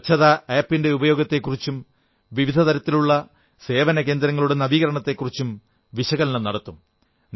സ്വച്ഛതാ app ന്റെ ഉപയോഗത്തെക്കുറിച്ചും വിവിധ തരത്തിലുള്ള സേവനകേന്ദ്രങ്ങളുടെ നവീകരണത്തെക്കുറിച്ചും വിശകലനം നടത്തും